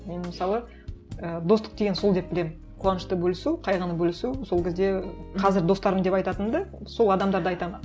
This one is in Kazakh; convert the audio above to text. мен мысалы і достық деген сол деп білемін қуанышты бөлісу қайғыны бөлісу сол кезде қазір достарым деп айтатынды сол адамдарды айтамын